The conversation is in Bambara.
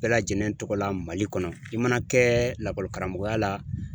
Bɛɛ lajɛlen tɔgɔ la Mali kɔnɔ i mana kɛ lakɔlikaramɔgɔya la